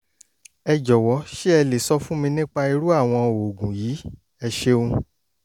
ẹ jọ̀wọ́ ṣé ẹ lè sọ fún mi nípa irú àwọn oògùn yìí? ẹ ṣeun